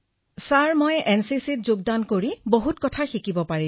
বিনোলে কিসৌঃ মহাশয় মই এনচিচিত যোগদান কৰি বহু কথা শিকিছো